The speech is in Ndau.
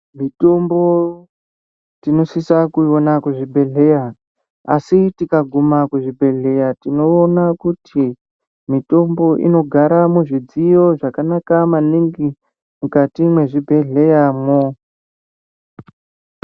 Mitombo tinosisa kuiona kuzvibhedhleya asi tikaguma kuzvibhedhleya tinoona kuti mitombo inogara muzvidziyo zvakanaka maningi mukati mwezvibhedhleyamwo.